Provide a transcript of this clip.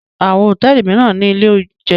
Àwọn hòtẹ́ẹ́lì mìíràn ní ilé-oúnjẹ.